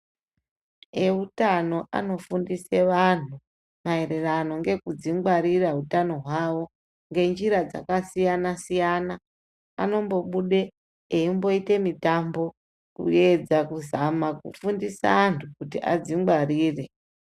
Eutano anofundise antu, maererano ngekudzingwarira utano hwavo ngenjira dzakasiyana-siyana, anombobude eimboite mitambo, kuedza kuzama kufundisa antu kuti adzingwarire.